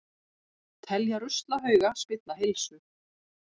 Telja ruslahauga spilla heilsu